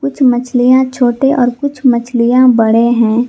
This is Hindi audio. कुछ मछलियां छोटे और कुछ मछलियां बड़े हैं।